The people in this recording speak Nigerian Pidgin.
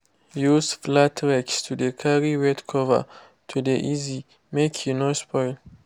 use flate rakes to de carry wet cover to de easy make e no spoil.